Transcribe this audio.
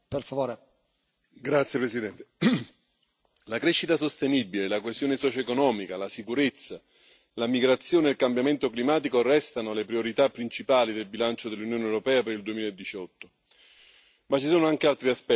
Signor Presidente, onorevoli colleghi, la crescita sostenibile, la coesione socioeconomica, la sicurezza, la migrazione e il cambiamento climatico restano le priorità principali del bilancio dell'Unione europea per il 2018. Ma ci sono anche altri aspetti da valutare.